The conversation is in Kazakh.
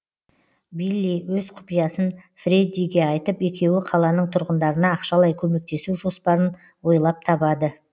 билли өз құпиясын фреддиге айтып екеуі қаланың тұрғындарына ақшалай көмектесу жоспарын ойлаып табады